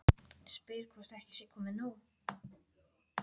Spyr hvort ekki sé komið nóg.